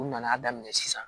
U nana daminɛ sisan